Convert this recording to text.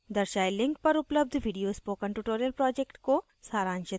दर्शाये link पर उपलब्ध video spoken tutorial project को सारांशित करता है